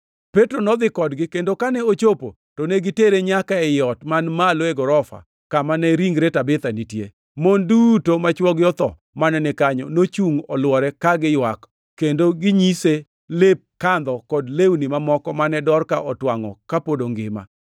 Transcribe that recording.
Petro nodhi kodgi, kendo kane ochopo to ne gitere nyaka ei ot man malo e gorofa kama ne ringre Tabitha nitie. Mon duto ma chwogi otho mane ni kanyo nochungʼ olwore, ka giywak kendo ginyise lep kandho kod lewni mamoko mane Dorka otwangʼo kapod ongima.